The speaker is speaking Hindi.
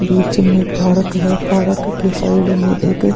बीच में पार्क है पारक के साइड में एक -